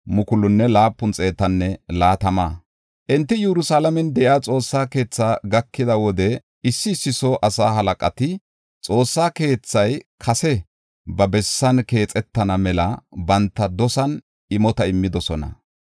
Enti Yerusalaamen de7iya Xoossa keetha gakida wode issi issi soo asaa halaqati Xoossa keethay kase ba bessan keexetana mela banta dosan imota immidosona.